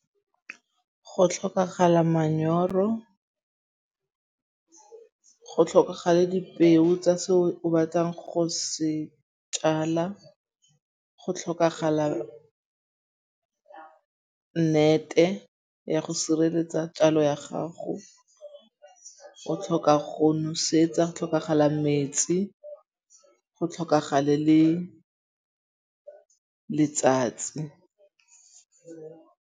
Go tlhokagala manyoro. Go tlhokagale dipeo tsa se o batlang go se tjala. Go tlhokagala nnete ya go sireletsa tjalo ya gago. O tlhoka go nosetsa. Go tlhokagala metsi. Go tlhokagale le letsatsi.